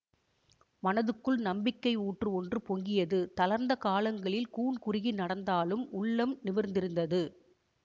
மனதுக்குள் நம்பிக்கை ஊற்று ஒன்று பொங்கியது தளர்ந்த கால்களில் கூன் குருகி நடந்தாலும் உள்ளம் நிமிர்ந்திருந்தது